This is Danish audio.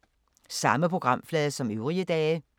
Samme programflade som øvrige dage